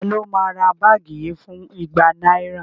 Taló máa ra báàgì yìí fún igba náírà?